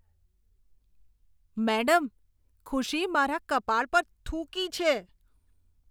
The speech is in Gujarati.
મેડમ, ખુશી મારા કપાળ પર થૂંકી છે.